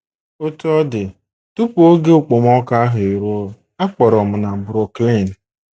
Otú ọ dị, tupu oge okpomọkụ ahụ eruo, a kpọrọ m na Brooklyn.